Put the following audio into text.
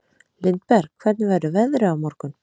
Lindberg, hvernig verður veðrið á morgun?